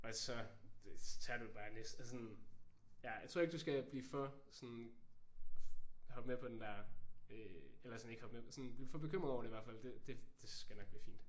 Og så tager du jo bare næste sådan. Ja jeg tror ikke du skal blive for sådan hoppe med på den der øh eller sådan ikke hoppe med blive for bekymret over det i hvert fald. Det skal nok blive fint